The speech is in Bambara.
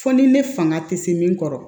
Fo ni ne fanga tɛ se min kɔrɔ